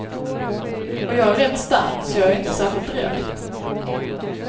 Och jag är rätt stark, så jag är inte särskilt rädd.